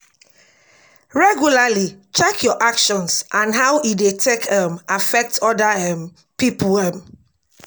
regularly check your actions and how e dey take um affect oda um pipo um